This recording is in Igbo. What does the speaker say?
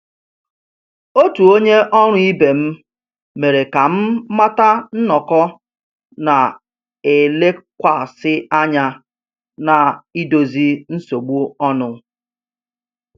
Otu onye ọrụ ibe m mere ka m mata nnọkọ na-elekwasị anya na idozi nsogbu ọnụ